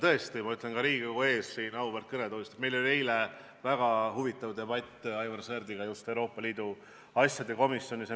Tõesti, ma ütlen ka Riigikogu ees, siit auväärt kõnetoolist, et meil oli eile väga huvitav debatt Aivar Sõerdiga Euroopa Liidu asjade komisjonis.